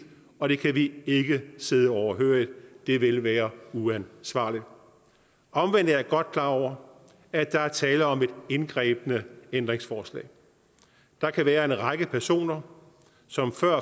og det kan vi ikke sidde overhørig det ville være uansvarligt omvendt er jeg godt klar over at der er tale om et indgribende ændringsforslag der kan være en række personer som før